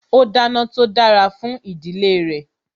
ó dáná tó dára fún ìdílé re